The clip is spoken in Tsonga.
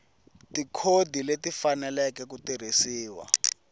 tikhodi leti faneleke ku tirhisiwa